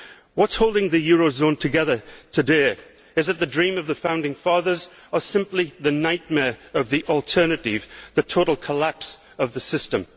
What is holding the eurozone together today is less the dream of the founding fathers than simply the nightmare of the alternative total collapse of the system.